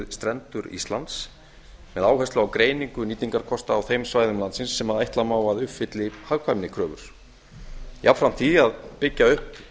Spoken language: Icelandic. strendur ísland með áherslu á greiningu nýtingarkosta á þeim svæðum landsins sem ætla má að uppfylli hagkvæmnikröfur jafnframt því að byggja upp